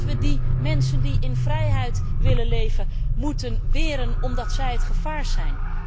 Dat we die mensen die in vrijheid willen leven, moeten weren omdat zij het gevaar zijn?